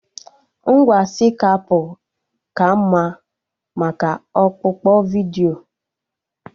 Ngwa Skaipụ ka mma maka ọkpụkpọ vidiyo